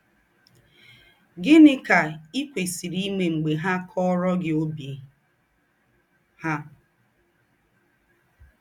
Gị̀nị́ kà i kwèsìrì íme m̀gbè ha kọ̀ọ̀rọ̀ gị ọ́bì ha?